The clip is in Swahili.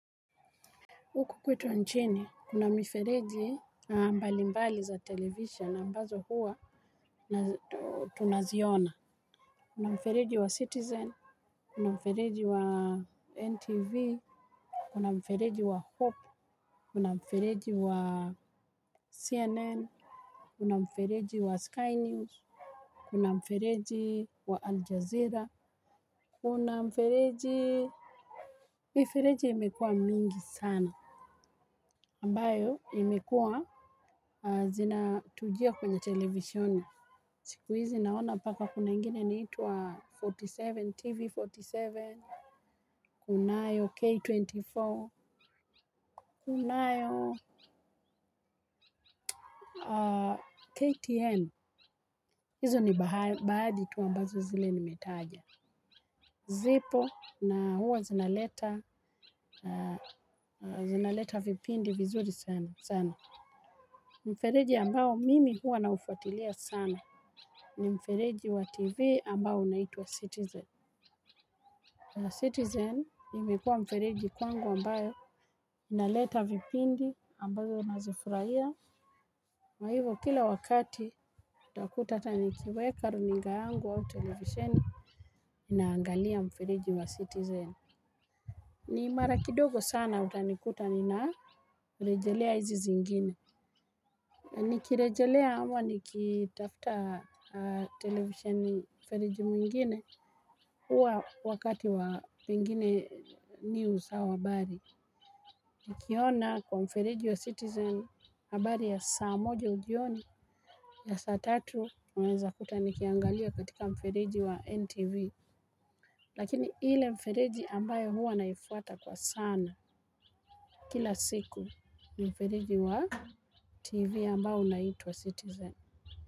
Huku kwetu nchini, kuna mifereji mbali mbali za television ambazo huwa tunaziona. Kuna mfereji wa Citizen, kuna mfereji wa NTV, kuna mfereji wa Hope, kuna mfereji wa CNN, kuna mfereji wa Sky News, kuna mfereji wa Al Jazeera, kuna mfereji. Mifereji imekuwa mingi sana. Ambayo imekuwa zina tujia kwenye television. Siku hizi naona mpaka kuna ingine inaitwa arobaini na saba, TV arobaini na saba, kunayo K24, kunayo KTN. Izo ni baadhi tu ambazo zile nimetaja. Zipo na huwa zinaleta vipindi vizuri sana. Sana. Mfereji ambao mimi huwa naufuatilia sana. Ni mfereji wa tv ambao unaitwa citizen. Citizen imekuwa mfereji kwangu ambayo inaleta vipindi ambavyo nazifurahia. Kwa hivo kila wakati utakuta hata nikiweka runinga yangu au televisheni naangalia mfereji wa citizen. Ni mara kidogo sana utanikuta nina rejelea hizi zingine. Ni kirejelea ama nikitafuta televisheni mfereji mwingine huwa wakati wa pengine news au habari. Nikiona kwa mfereji wa citizen habari ya saa moja jioni na saa tatu unaweza kuta nikiangalia katika mfereji wa NTV. Lakini ile mfereji ambayo huwa naifuata kwa sana kila siku mfereji wa TV ambayo unaitwa citizen.